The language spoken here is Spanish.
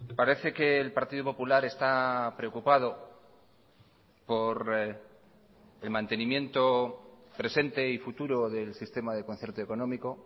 parece que el partido popular está preocupado por el mantenimiento presente y futuro del sistema de concierto económico